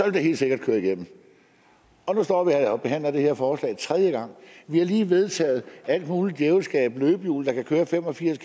det helt sikkert køre igennem og nu står vi og behandler det her forslag tredje gang vi har lige vedtaget alt muligt djævelskab med løbehjul der kan køre fem og firs